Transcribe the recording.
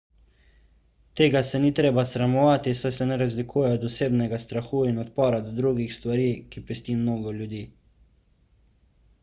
tega se ni treba sramovati saj se ne razlikuje od osebnega strahu in odpora do drugih stvari ki pesti mnogo ljudi